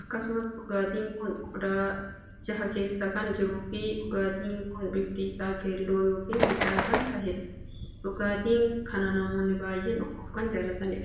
akkasumas dhugaatii kun qodaa jaha keessa kan jiruu fi dhugaatiin kun biftii isaa keelloo ykn bicaa kan taheedha. dhugaatii kana namoonni baay'een dhuguuf kan jaallatanidha.